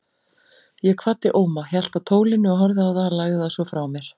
Ég kvaddi Óma, hélt á tólinu og horfði á það, lagði það svo frá mér.